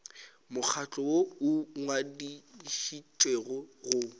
mokgatlo woo o ngwadišitšwego go